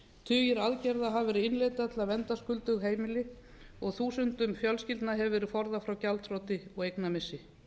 tugir aðgerða hafa verið innleiddar til að vernda skuldug heimili og þúsundum fjölskyldna hefur verið forðað frá gjaldþroti og eignamissi